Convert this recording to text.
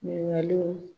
Ɲininkaliw